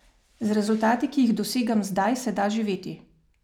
Z rezultati, ki jih dosegam zdaj, se da živeti.